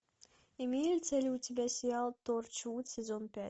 имеется ли у тебя сериал торчвуд сезон пять